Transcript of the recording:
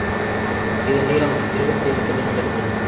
இதன் நீளம் இருபத்தி ஐந்து செமீ உள்ளது